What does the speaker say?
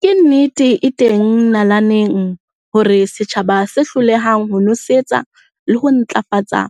Ke nnete e teng nalaneng hore setjhaba se hlolehang ho nosetsa le ho ntlafatsa